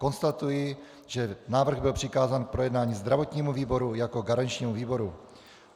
Konstatuji, že návrh byl přikázán k projednání zdravotnímu výboru jako garančnímu výboru.